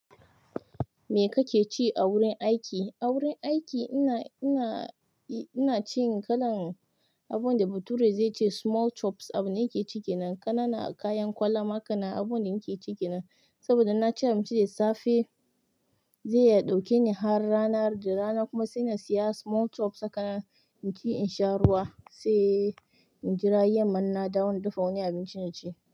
Me kake ci a wurin aiki? A wurin aiki ina, ina, ina cin kalan abun da bature zai ce small chops. Abunda nake cike nan. Ƙananan, kayan kwalama, kana abubuwan da muke cike nan. Saboda in naci abunci da safe zai iya ɗauke ni har rana har da rana kuma sai na siya small chops haka na ci in sha ruwa sai in jira yamma in na dafa waniabinci na ci.